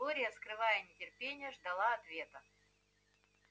глория скрывая нетерпение ждала ответа